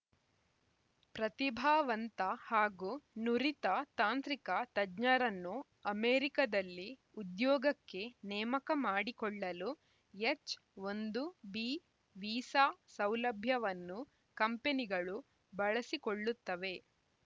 ಪ್ರತಿಭಾವಂತ ಹಾಗೂ ನುರಿತ ತಾಂತ್ರಿಕ ತಜ್ಞರನ್ನು ಅಮೆರಿಕದಲ್ಲಿ ಉದ್ಯೋಗಕ್ಕೆ ನೇಮಕ ಮಾಡಿಕೊಳ್ಳಲು ಎಚ್‌ ಒಂದು ಬಿ ವೀಸಾ ಸೌಲಭ್ಯವನ್ನು ಕಂಪನಿಗಳು ಬಳಸಿಕೊಳ್ಳುತ್ತವೆ